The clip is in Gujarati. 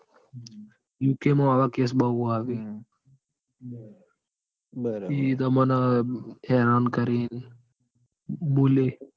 યુકે માં હવે case બૌ આવે હમ બરાબર બીજી રીતે તમને હેરાન કરે. બોલે